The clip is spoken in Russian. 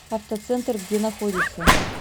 автоцентр где находится